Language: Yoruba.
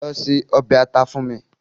Lọ se ọbẹ̀ ata fún mi